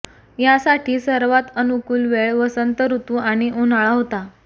या साठी सर्वात अनुकूल वेळ वसंत ऋतु आणि उन्हाळा होता